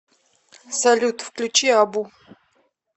салют включи абу